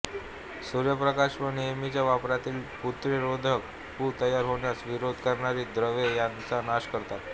सूर्यप्रकाश व नेहमीच्या वापरातील पूतिरोधके पू तयार होण्यास विरोध करणारी द्रव्ये त्यांचा नाश करतात